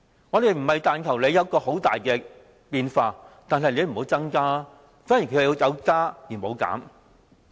我們不是要求有很大變化，只是要求不要增加，但貧窮人口卻有加無減。